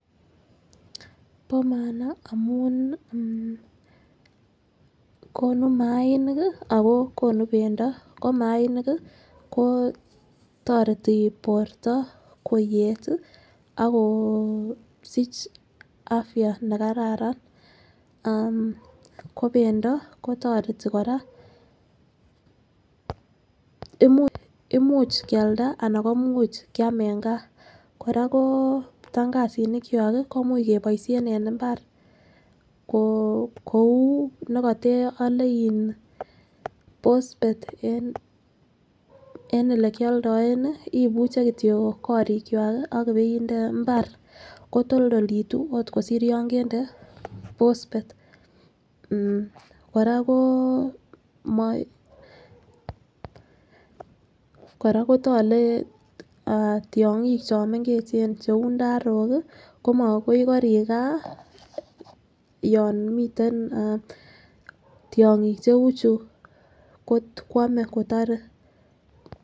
Bo maana amun nii konu mainik akoo konu pendo ko mainik kii ko toreti borto koyet tii ak ko kosich afya nekararan ammhh. Ko pendo kotoreti Koraa imuch imuch Kialda ana ko imuch kiam en gaa. Koraa koo ptakasinik kwak kii ko imuch keboishen en imbar, koo kou nekote ole iin posphet en ole kioldoen nii ibuche kityok korikwak kii ak ipeide imbar kotoldolitu ot kosir yon kende phosphate .Koraa koo moi koraa kotkle tyonkik chomengechen cheu ndarok kii komo koik korik gaa yon miten eeh tyonkik cheu chuu kwome kotore.